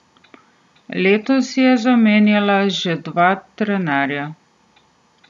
Letos je zamenjala že dva trenerja.